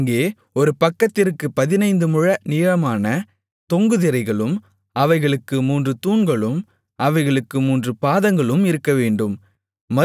அங்கே ஒரு பக்கத்திற்குப் பதினைந்து முழ நீளமான தொங்கு திரைகளும் அவைகளுக்கு மூன்று தூண்களும் அவைகளுக்கு மூன்று பாதங்களும் இருக்கவேண்டும்